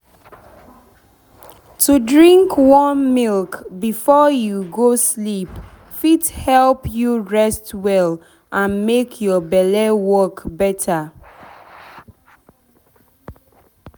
to drink warm milk before you go sleep fit help you rest well and make your belle work better.